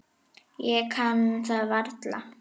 Ég kann það varla.